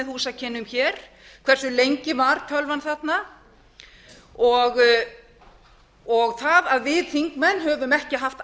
húsakynnum hér hversu lengi var tölvan þarna það að við þingmenn höfum ekki haft